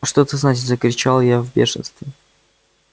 что это значит закричал я в бешенстве